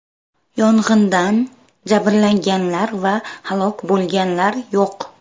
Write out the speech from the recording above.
Yong‘indan jabrlanganlar va halok bo‘lganlar yo‘q.